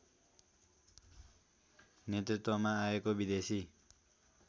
नेतृत्वमा आएको विदेशी